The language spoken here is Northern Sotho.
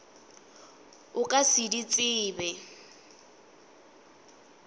o ka se di tsebe